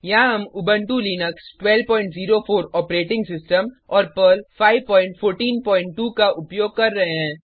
यहाँ हम Ubuntu Linux 1204 operating system और पर्ल 5142 का उपयोग कर रहे हैं